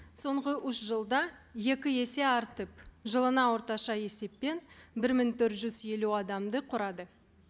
соңғы үш жылда екі есе артып жылына орташа есеппен бір мың төрт жүз елу адамды құрады